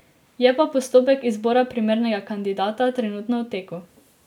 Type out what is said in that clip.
Je pa postopek izbora primernega kandidata trenutno v teku.